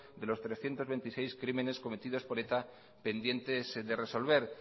de los trescientos veintiséis crímenes cometidos por eta pendientes de resolver